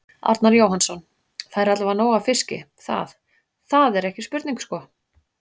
Arnar Jóhannsson: Það er allavega nóg af fiski, það, það er ekki spurning sko?